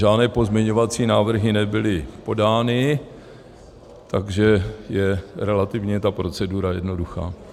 Žádné pozměňovací návrhy nebyly podány, takže je relativně ta procedura jednoduchá.